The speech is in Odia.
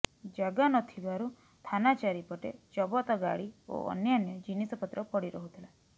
ଜାଗା ନଥିବାରୁ ଥାନା ଚାରିପଟେ ଜବତ ଗାଡ଼ି ଓ ଅନ୍ୟାନ୍ୟ ଜିନିଷପତ୍ର ପଡ଼ି ରହୁଥିଲା